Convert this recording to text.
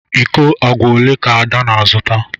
Iko agwa ole ka ada na-azụta?